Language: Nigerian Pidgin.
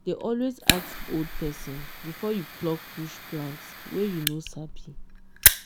dey always ask old person before you pluck bush plant wey you no sabi.